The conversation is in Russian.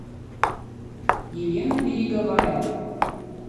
елена береговая